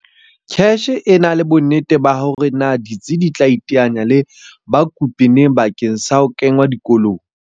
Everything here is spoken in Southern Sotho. CACH ha ena bonnete ba hore na ditsi di tla iteanya le bakopi neng bakeng sa ho kengwa dikolong.